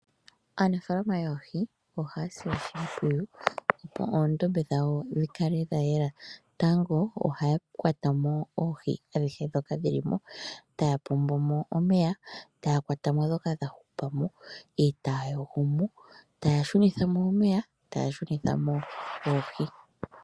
Aanafaalama yoohi ohaya sile oshimpwiyu opo oondombe dhawo dhi kale dha yela. Tango oha ya kwata mo oohi adhihe ndhoka dhili mo, taya pombomo omeya, taya kwata mo ndhoka dha hupa mo eta ya yogomo, taya shunithamo omeya, taya shunitha mo oohi.